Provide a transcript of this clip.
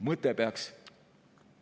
… mõte peaks …